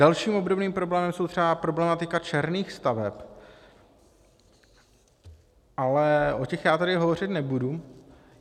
Dalším obdobným problémem je třeba problematika černých staveb, ale o těch já tady hovořit nebudu.